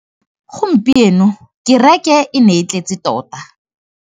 Gompieno kêrêkê e ne e tletse tota.